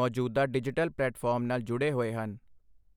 ਮੌਜੂਦਾ digital platform ਨਾਲ ਜੁੜੇ ਹੋਏ ਹਨ।